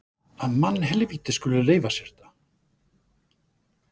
Að mannhelvítið skuli leyfa sér þetta!